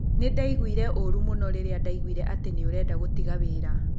Nĩ ndaiguire ũũru mũno rĩrĩa ndaiguire atĩ nĩ ũrenda gũtiga wĩra